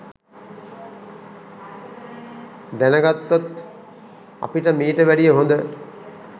දැනගත්තොත් අපිට මීට වැඩිය හොඳ